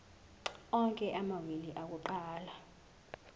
onke amawili akuqala